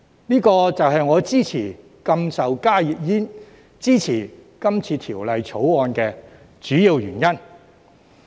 這就是我支持禁售加熱煙、支持《條例草案》的主因。